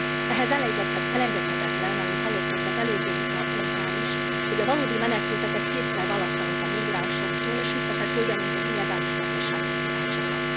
Ehhez elengedhetetlen, amit hallottunk az előző vitapontnál is, hogy a valódi menekülteket szét kell választanunk a migránsoktól, és vissza kell küldenünk az illegális gazdasági migránsokat.